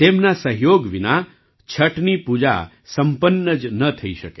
તેમના સહયોગ વિના છઠની પૂજા સંપન્ન જ ન થઈ શકે